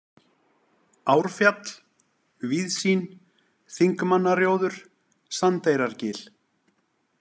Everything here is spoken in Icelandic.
Árfjall, Víðsýn, Þingmannarjóður, Sandeyrargil